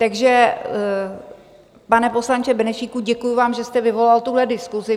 Takže, pane poslanče Benešíku, děkuji vám, že jste vyvolal tuhle diskusi.